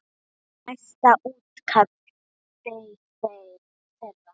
Næsta útkall beið þeirra.